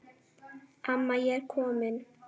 Amma ég er komin